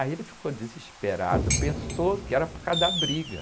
Aí ele ficou desesperado, pensou que era por causa da briga.